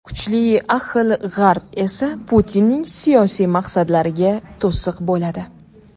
Kuchli ahil G‘arb esa Putinning siyosiy maqsadlariga to‘siq bo‘ladi.